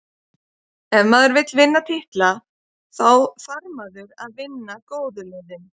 Ef maður vill vinna titla, þá þarf maður að vinna góðu liðin.